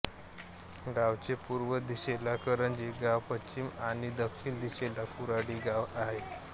गावचे पूर्व दिशेला करंजी गाव पश्चिम आणि दक्षिण दिशेला कुऱ्हाडी गाव आहे